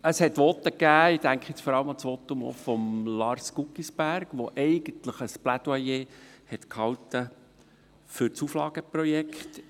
Es gab Voten, ich denke vor allem an das Votum von Lars Guggisberg, der eigentlich ein Plädoyer für das Auflageprojekt gehalten hat.